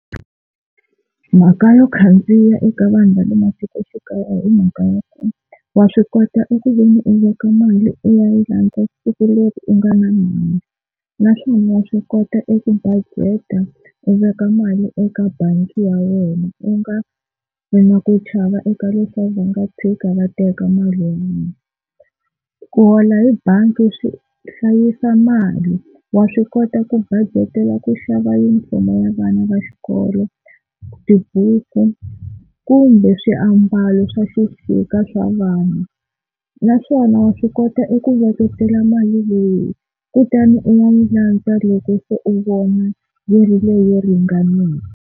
Mhaka yo khandziya eka vanhu va le matikoxikaya i mhaka ya ku wa swi kota eku veni u veka mali u ya yi landza siku leri u nga na mali, naswona wa swi kota eku bajeta u veka mali eka bangi ya wena u nga ri na ku chava eka leswaku va nga tshuka va teka mali ya mina. Ku hola hi bangi swi hlayisa mali wa swi kota ku bajetela ku xava yunifomo ya vana va xikolo, tibuku kumbe swiambalo swa xixika swa vana. Naswona wa swi kota eku veketela mali leyi kutani u nga yi landza loko se u vona yi ri leyi ringaneke.